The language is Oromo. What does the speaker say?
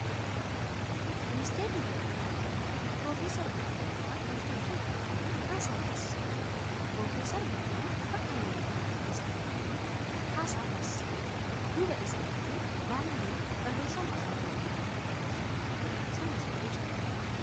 Ministeerri barnootaa Itiyoophiyaa Prof. Biraanuu Naggaa waltajjii irratti ba'uun haasaa taasisaa jiru. Prof. Biraanuun bakka miidiyaaleen muraasni argamanitti haasaa taasisaa jiru. Duuba isaaniitiin 'baanerii'n barreeffama afaan Ingiliziitiin barreeffame qabu fannifamee jira.